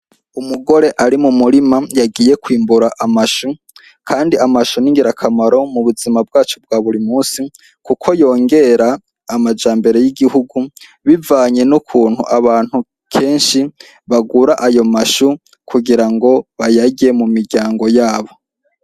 Umugore ari mu murima yagiye kwimbura amashu, kandi amashu n'ingirakamaro mu buzima bwacu bwa buri musi, kuko yongera amajambere y'igihugu bivanye n' ukuntu abantu kenshi bagura ayo mashu kugira ngo bayarye mu miryango yabo.